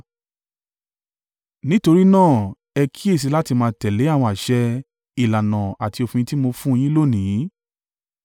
Nítorí náà ẹ kíyèsi láti máa tẹ̀lé àwọn àṣẹ, ìlànà àti òfin tí mo fun un yín lónìí.